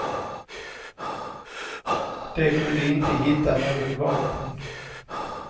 De kunde inte hitta något vapen.